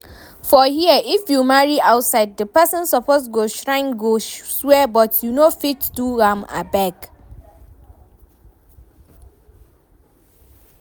For here, if you marry outside, the person suppose go shrine go swear but we no fit do am abeg